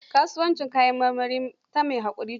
Kasuwancin kayan maramari ta mai haƙuri ce.